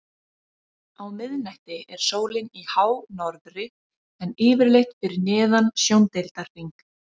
Á miðnætti er sólin í hánorðri en yfirleitt fyrir neðan sjóndeildarhring.